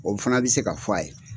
O fana bɛ se ka f'a ye.